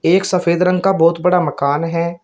एक सफेद रंग का बहोत बड़ा मकान है।